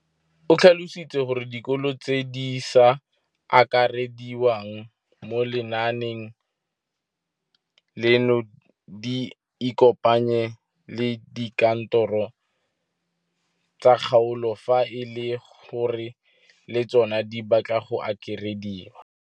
O tlhalositse gore dikolo tse di sa akarediwang mo lenaaneng leno di ikopanye le dikantoro tsa kgaolo fa e le gore le tsona di batla go akarediwa.